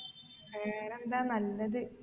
വേറെന്താ നല്ലത്